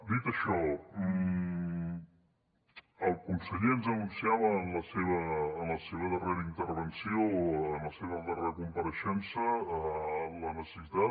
dit això el conseller ens anunciava en la seva darrera intervenció en la seva darrera compareixença la necessitat